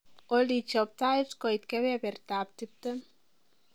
olly chob tait koit kebebertab tiptem